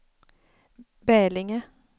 Bälinge